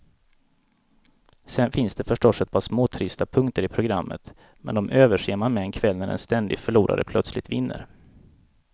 Sen finns det förstås ett par småtrista punkter i programmet, men de överser man med en kväll när en ständig förlorare plötsligt vinner.